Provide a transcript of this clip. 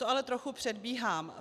To ale trochu předbíhám.